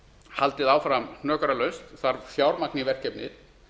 haldið áfram hnökralaust þarf fjármagn í verkefnið